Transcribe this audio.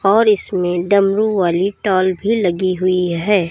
और इसमें डमरू वाली टॉल भी लगी हुई है।